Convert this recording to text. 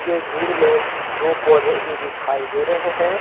यह दूर में दो पौधे भी दिखाई दे रहे हैं।